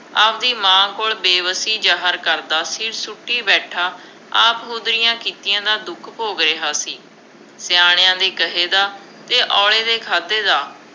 ਆਪਦੀ ਮਾਂ ਕੋਲ ਬੇਬਸੀ ਜ਼ਾਹਰ ਕਰਦਾ, ਸਿਰ ਸੁੱਟੀ ਬੈਠਾ, ਆਪ-ਹੁਦਰੀਆਂ ਕੀਤੀਆਂ ਦਾ ਦੁੱਖ ਭੋਗ ਰਿਹਾ ਸੀ, ਸਿਆਣਿਆਂ ਦੇ ਕਹੇ ਦਾ ਅਤੇ ਔਲੇ ਦੇ ਖਾਧੇ ਦਾ